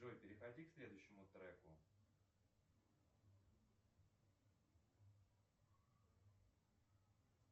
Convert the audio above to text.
джой переходи к следующему треку